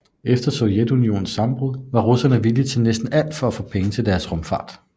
Efter Sovjetunionens sammenbrud var russerne villige til næsten alt for at få penge til deres rumfart